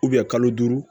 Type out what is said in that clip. kalo duuru